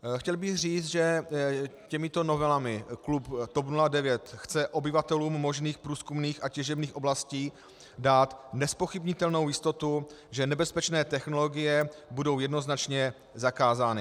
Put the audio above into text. Chtěl bych říci, že těmito novelami klub TOP 09 chce obyvatelům možných průzkumných a těžebních oblastí dát nezpochybnitelnou jistotu, že nebezpečné technologie budou jednoznačně zakázány.